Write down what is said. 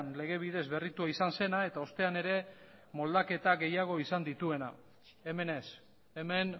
lege bidez berritua izan zena eta ostean ere moldaketa gehiago izan dituena hemen ez hemen